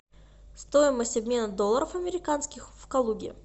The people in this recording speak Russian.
стоимость обмена долларов американских в калуге